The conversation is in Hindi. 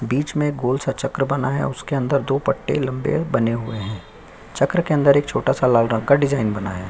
बीच में गोल- सा चक्र बना हुआ है उसके अंदर दो पट्टे लंबे बने हुए है चक्र के अंदर एक छोटा -सा लाल रंग का डिजाइन बना हैं।